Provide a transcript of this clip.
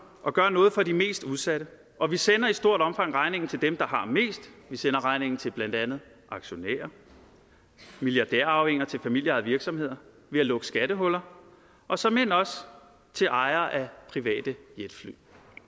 og gør noget for de mest udsatte og vi sender i stort omfang regningen til dem der har mest vi sender regningen til blandt andet aktionærer og milliardærarvinger til familieejede virksomheder ved at lukke skattehuller og såmænd også til ejere af private jetfly